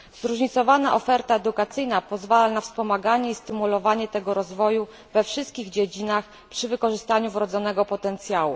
Zróżnicowana oferta edukacyjna pozwala na wspomaganie i stymulowanie tego rozwoju we wszystkich dziedzinach, przy wykorzystaniu wrodzonego potencjału.